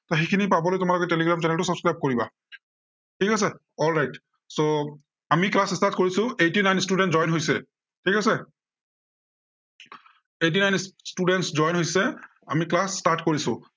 আহ সেইখিনি পাবলে তোমালোকে টেলিগ্ৰাম channel টো subscribe কৰিবা। ঠিক আছে alright, so আমি class start কৰিছো, eighty nine students join হৈছে। ঠিক আছে eighty nine students join হৈছে, আমি class start কৰিছো।